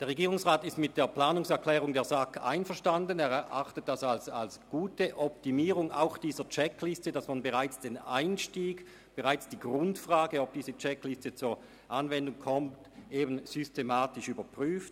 Der Regierungsrat ist mit der Planungserklärung der SAK einverstanden und erachtet sie insofern als gute Optimierung der Checkliste, als man bereits den Einstieg und die Grundfrage, ob diese Checkliste zur Anwendung kommt, systematisch überprüft.